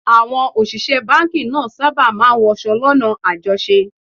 Àwọn òṣìṣẹ́ báńkì náà sábà máa ń wọṣọ lọ́nà àjọṣe